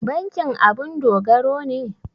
Bankin abun dogaro ne?